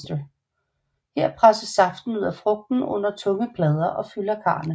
Her presses saften ud af frugten under tunge plader og fylder karrene